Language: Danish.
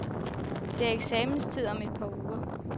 Det er eksamenstid om et par uger.